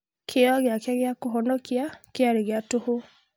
Kĩyo gĩake gĩa kũhonokia kĩarĩ gĩa tũhũ